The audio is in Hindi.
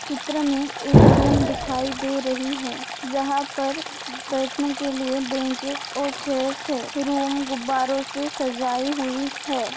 चित्र में एक रूम दिखाई दे रही है जहां पर बैठने के लिए ब्रेनचेस और चेयर्स है रूम गुब्बारों से सजाई हुई है।